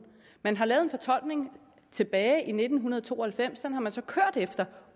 man har lavet en fortolkning tilbage i nitten to og halvfems og den har man så kørt efter